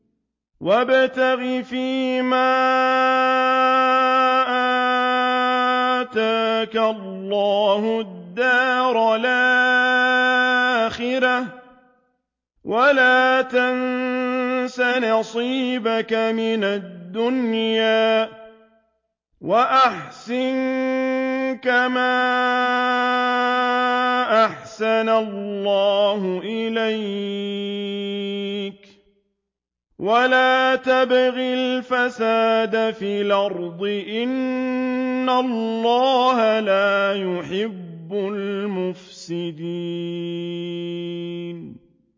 وَابْتَغِ فِيمَا آتَاكَ اللَّهُ الدَّارَ الْآخِرَةَ ۖ وَلَا تَنسَ نَصِيبَكَ مِنَ الدُّنْيَا ۖ وَأَحْسِن كَمَا أَحْسَنَ اللَّهُ إِلَيْكَ ۖ وَلَا تَبْغِ الْفَسَادَ فِي الْأَرْضِ ۖ إِنَّ اللَّهَ لَا يُحِبُّ الْمُفْسِدِينَ